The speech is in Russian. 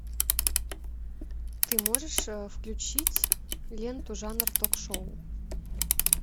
ты можешь включить ленту жанр ток шоу